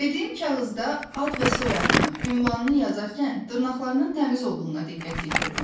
Verdiyim kağızda ad və soyadını, ünvanını yazarkən dırnaqlarının təmiz olduğuna diqqət yetirdim.